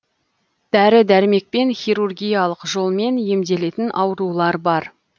дәрі дәрмекпен хирургиялық жолмен емделетін аурулар бар